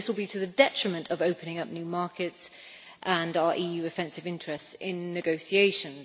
This will be to the detriment of opening up new markets and our EU offensive interests in negotiations.